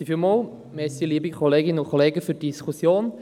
Vielen Dank, liebe Kolleginnen und Kollegen, für diese Diskussion.